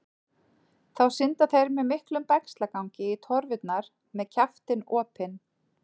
Þá synda þeir með miklum bægslagangi í torfurnar með kjaftinn opinn.